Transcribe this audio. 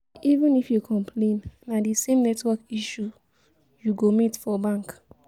even if yu complain na di same network issue yu go meet for bank